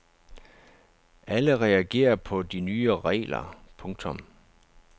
Alle reagerer på de nye regler. punktum